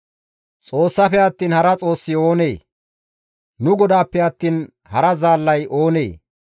Xoossafe attiin hara xoossi oonee? nu GODAAPPE attiin hara zaallay oonee?